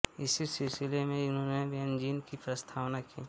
इसी सिलसिले में इन्होंने बेनज़ीन की प्रस्तावना की